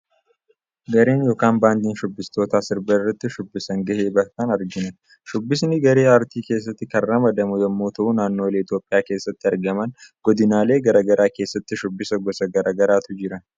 Garee yookaan baandii shubbistootaa sirba irratti shubbisaan gahee bahatan argina. Shubbisni garee aartii keessatti kan ramadamuu yommuu ta'u naannoolee Itoophiyaa keessatti argaman, godinaalee gara garaa keessatti shubbisa gosa gara garaatu jira.